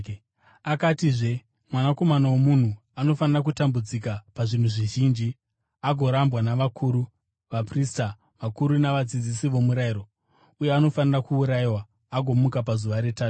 Akatizve, “Mwanakomana woMunhu anofanira kutambudzika pazvinhu zvizhinji agorambwa navakuru, vaprista vakuru navadzidzisi vomurayiro, uye anofanira kuurayiwa agomuka pazuva retatu.”